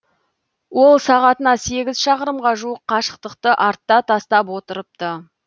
ол сағатына сегіз шақырымға жуық қашықтықты артта тастап отырыпты